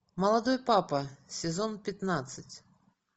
молодой папа сезон пятнадцать